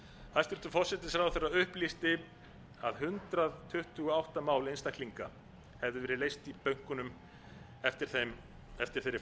hæstvirtur forsætisráðherra upplýsti að hundrað tuttugu og átta mál einstaklinga hefðu verið leyst í bönkunum eftir þeirri